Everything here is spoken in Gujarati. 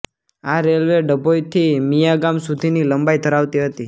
આ રેલ્વે ડભોઈ થી મિયાગામ સુધી ની લંબાઈ ધરાવતી હતી